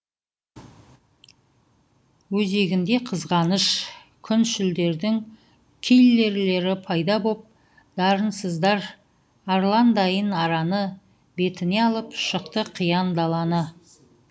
өзегінде қызғаныш күншілдердің киллерлері пайда боп дарынсыздар арландайын араны бетіне алып шықты қиян даланы